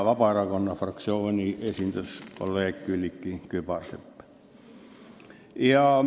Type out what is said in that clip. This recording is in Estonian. Vabaerakonna fraktsiooni esindas kolleeg Külliki Kübarsepp.